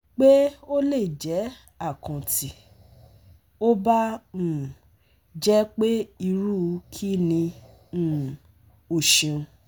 pe o le jẹ akàn ti o ba um jẹ pe iru kini? um O ṣeun